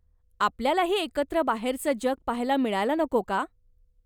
आपल्यालाही एकत्र बाहेरचं जग पाहायला मिळायला नको का?